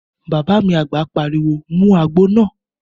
Bàbá mi àgbà pariwo mu àgbo náà!